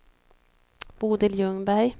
Bodil Ljungberg